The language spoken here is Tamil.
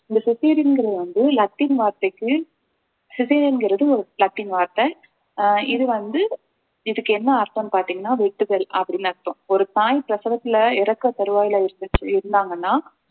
இந்த cesarean ங்கிறது வந்து லத்தீன் வார்த்தைக்கு cesarean ங்கிறது ஒரு லத்தீன் வார்த்தை அஹ் இது வந்து இதுக்கு என்ன அர்த்தம்ன்னு பார்த்தீங்கன்னா வெட்டுதல் அப்படின்னு அர்த்தம் ஒரு தாய் பிரசவத்துல இறக்க தருவாயில இருந்துச்சி இருந்தாங்கன்னா